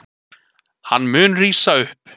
Hann mun rísa upp.